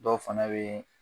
Dɔw fana bee